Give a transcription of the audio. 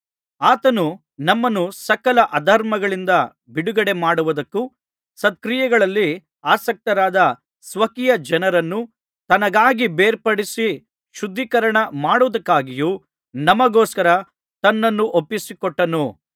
ಆತನು ನಮ್ಮನ್ನು ಸಕಲ ಅಧರ್ಮಗಳಿಂದ ಬಿಡುಗಡೆಮಾಡುವುದಕ್ಕೂ ಸತ್ಕ್ರಿಯೆಗಳಲ್ಲಿ ಆಸಕ್ತರಾದ ಸ್ವಕೀಯಜನರನ್ನು ತನಗಾಗಿ ಬೇರ್ಪಡಿಸಿ ಶುದ್ಧೀಕರಣ ಮಾಡುವುದಕ್ಕಾಗಿಯೂ ನಮಗೋಸ್ಕರ ತನ್ನನ್ನು ಒಪ್ಪಿಸಿಕೊಟ್ಟನು